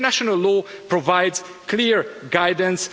So international law provides clear guidance.